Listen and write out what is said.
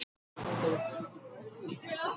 Það var of fyndið til að freista þess ekki.